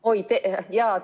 Oi, tere!